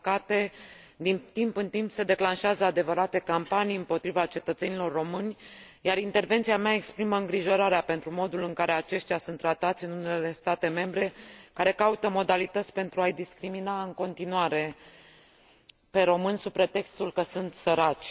Din păcate, din timp în timp se declanșează adevărate campanii împotriva cetățenilor români, iar intervenția mea exprimă îngrijorarea pentru modul în care aceștia sunt tratați în unele state membre, care caută modalități pentru a i discrimina în continuare pe români, sub pretextul că sunt săraci.